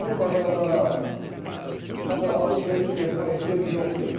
Yəni bazarlara, məsələn, alış-veriş üçün getmək ehtiyac yoxdur.